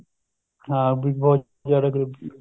ਹਾਂ ਵੀ ਬਹੁਤ ਜਿਆਦਾ ਗਰੀਬੀ